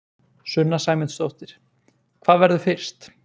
Sunna Sæmundsdóttir: Hvað verður fyrst?